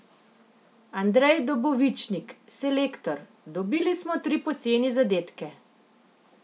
Andrej Dobovičnik, selektor: "Dobili smo tri poceni zadetke ...